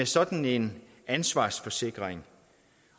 sådan en ansvarsforsikring